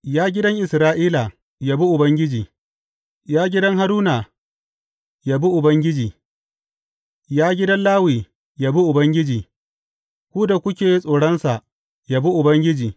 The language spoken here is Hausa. Ya gidan Isra’ila, yabi Ubangiji; Ya gidan Haruna, yabi Ubangiji; Ya gidan Lawi, yabi Ubangiji; ku da kuke tsoronsa, yabi Ubangiji.